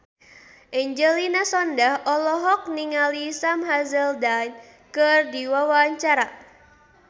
Angelina Sondakh olohok ningali Sam Hazeldine keur diwawancara